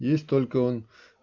есть только он